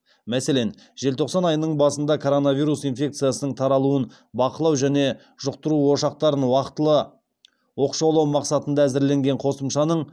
мәселен желтоқсан айының басында коронавирус инфекциясының таралуын бақылау және жұқтыру ошақтарын уақтылы оқшаулау мақсатында әзірленген қосымшаның